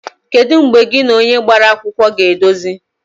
Kedu mgbe gị na onye gbara akwụkwọ ga-edozi?